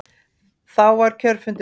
Þá var kjörfundi lokið.